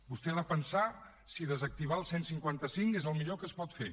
vostè ha de pensar si desactivar el cent i cinquanta cinc és el millor que es pot fer